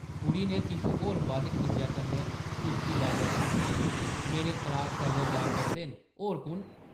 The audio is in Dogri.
कुड़ी नै किश होर बद्ध खिंझै कन्नै उच्ची बाजा च आखेआ, ‘‘मेरे क्लास फैलो जा करदे न, होर कुʼन?’’